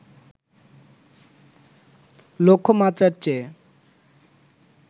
লক্ষ্যমাত্রার চেয়ে